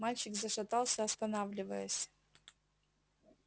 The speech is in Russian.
мальчик зашатался останавливаясь